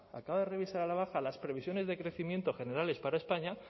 acaba de revisar a la baja las previsiones de crecimiento generales para españa